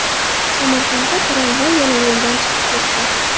Samarqandda tramvay yana yo‘lidan chiqib ketdi .